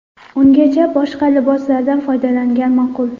Ungacha boshqa liboslardan foydalangan ma’qul.